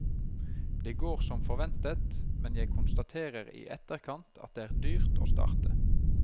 Det går som forventet, men jeg konstaterer i etterkant at det er dyrt å starte.